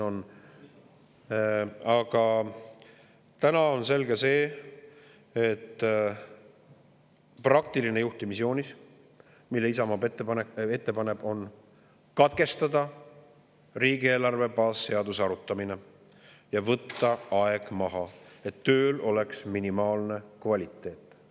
Aga täna on selge see, et praktiline juhtimisjoonis, mille Isamaa ette paneb, on järgmine: katkestada riigieelarve baasseaduse arutamine ja võtta aeg maha, et tööl oleks kvaliteet.